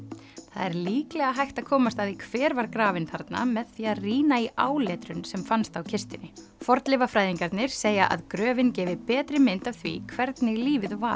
það er líklega hægt að komast að því hver var grafinn þarna með því að rýna í áletrun sem fannst á kistunni fornleifafræðingarnir segja að gröfin gefi betri mynd af því hvernig lífið var